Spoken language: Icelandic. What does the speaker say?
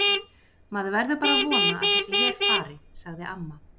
Maður verður bara að vona að þessi her fari, sagði amma.